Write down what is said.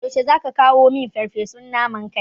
Yaushe zaka kawo min farfesun naman kai?